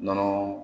Nɔnɔ